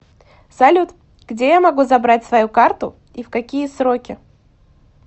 салют где я могу забрать свою карту и в какие сроки